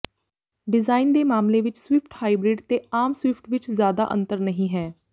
design ਦੇ ਮਾਮਲੇ ਵਿੱਚ ਸਵਿਫ਼ਟ ਹਾਈਬ੍ਰਿਡ ਤੇ ਆਮ ਸਵਿਫ਼ਟ ਵਿੱਚ ਜ਼ਿਆਦਾ ਅੰਤਰ ਨਹੀਂ ਹੈ